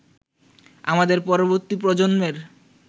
আমাদের পরবর্তী প্রজন্মের